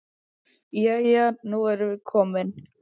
Jæja, nú erum við komin.